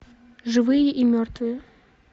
живые и мертвые